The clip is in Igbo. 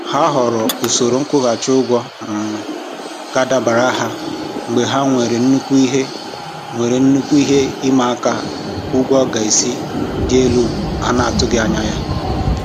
Ha họọrọ usoro nkwụghachị ụgwọ um ga-adabara ha mgbe ha nwere nnukwu ihe nwere nnukwu ihe ịmaaka ụgwọ gaasị dị elu ha n'atụghị anya.